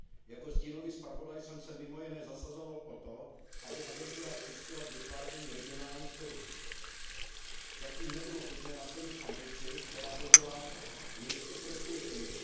Jako stínový zpravodaj jsem se mimo jiné zasazoval o to, aby agentura přispěla k vytváření regionálních trhů. Zatím nebylo možné naplnit ambici, která by byla ještě prospěšnější.